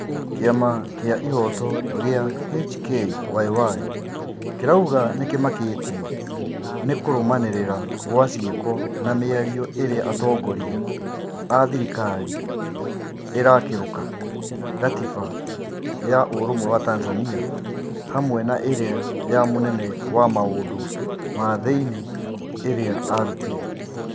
Kĩama gĩa ihoto gĩa HKYY kĩrauga nĩ kĩmakĩtio ni kũrũmanĩrĩra gwa ciĩko na mĩario ĩrĩa atongoria a thirikari ĩrakĩruka gatiba ya ũrũmwe wa Tanzania hamwe na ĩrĩa ya mũnene wa maũndũ ma thi-inĩ ĩrĩa arutire